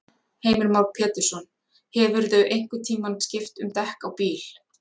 Heimir Már Pétursson: Hefurðu einhvern tímann skipt um dekk á bíl?